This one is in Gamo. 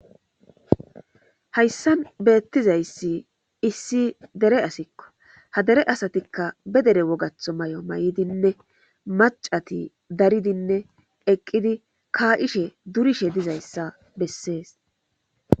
hayssan beettizayssi issi dere asikko ha dere asatikka be dere wogatho may7o may7idinne macati daridinne eqqidi kaa ishe durishe dizayssa bessees